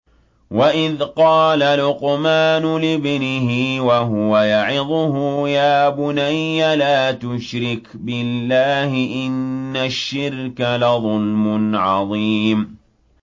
وَإِذْ قَالَ لُقْمَانُ لِابْنِهِ وَهُوَ يَعِظُهُ يَا بُنَيَّ لَا تُشْرِكْ بِاللَّهِ ۖ إِنَّ الشِّرْكَ لَظُلْمٌ عَظِيمٌ